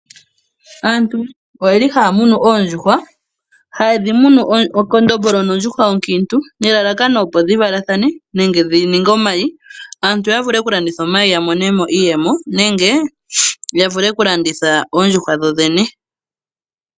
Aantu oyeli haya munu oondjuhwa haye dhi munu ekondombolo nondjuhwa onkiintu. Hadhi munu nelalakano opo dhi valathane nenge opo dhi ninge omayi. Aantu ya vule oku landitha omayi ya monemo iiyemo nenge ya vule oku landitha oondjuhwa dho dhene.